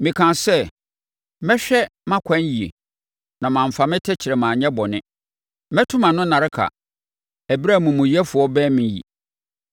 Mekaa sɛ, “Mɛhwɛ mʼakwan yie na mamfa me tɛkrɛma anyɛ bɔne; mɛto mʼano nnareka ɛberɛ a amumuyɛfoɔ bɛne me yi.